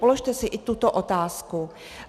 Položte si i tuto otázku.